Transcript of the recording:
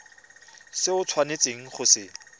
se o tshwanetseng go se